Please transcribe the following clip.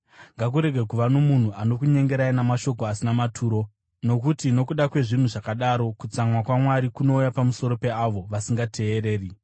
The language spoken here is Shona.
Ngakurege kuva nomunhu anokunyengerai namashoko asina maturo, nokuti nokuda kwezvinhu zvakadaro, kutsamwa kwaMwari kunouya pamusoro peavo vasingateereri.